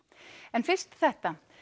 en fyrst þetta